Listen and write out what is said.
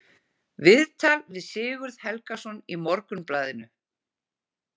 Viðtal við Sigurð Helgason í Morgunblaðinu.